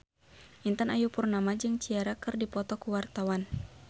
Intan Ayu Purnama jeung Ciara keur dipoto ku wartawan